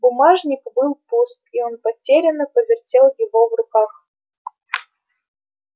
бумажник был пуст и он потерянно повертел его в руках